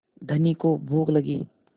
धनी को भूख लगी